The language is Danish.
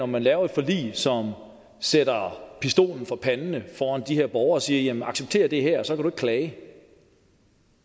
man laver et forlig som sætter pistolen for panden af de her borgere og siger accepter det her og så kan klage